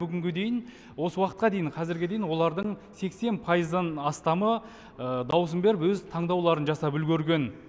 бүгінге дейін осы уақытқа дейін қазірге дейін олардың сексен пайыздан астамы даусын беріп өз таңдауларын жасап үлгерген